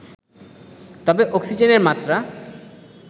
তবে অক্সিজেনের মাত্রা